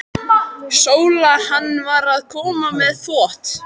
SÓLA: Hann var að koma með þvott.